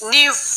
Ni